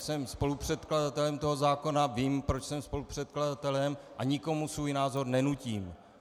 Jsem spolupředkladatelem tohoto zákona, vím, proč jsem spolupředkladatelem, a nikomu svůj názor nenutím.